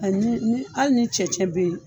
ni ni hali ni cɛncɛn be yen